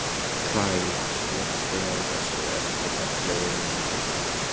Kaj, slökktu á þessu eftir ellefu mínútur.